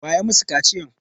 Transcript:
Waye ya masu kaciyan?